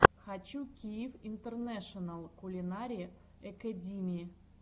хочу киев интернэшенал кулинари экэдими